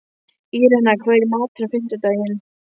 Írena, hvað er í matinn á fimmtudaginn?